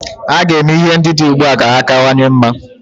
A ga-eme ihe ndị dị ugbua ka ha kawanye mma.